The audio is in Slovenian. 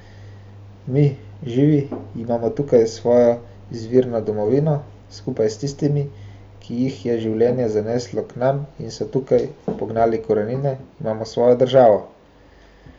Mi, živi, imamo tukaj svojo izvirno domovino, skupaj s tistimi, ki jih je življenje zaneslo k nam in so tukaj pognali korenine, imamo svojo državo.